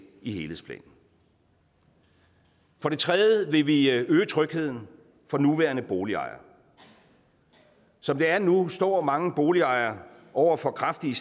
i helhedsplanen for det tredje vil vi øge trygheden for nuværende boligejere som det er nu står mange boligejere over for kraftige